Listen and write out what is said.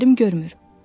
Gözlərim görmür.